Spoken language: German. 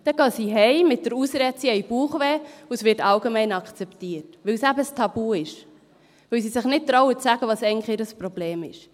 Sie gehen mit der Ausrede nach Hause, sie hätten Bauchschmerzen, und das wird allgemein akzeptiert – weil es eben ein Tabu ist, weil sie sich nicht getrauen, zu sagen, was eigentlich ihr Problem ist.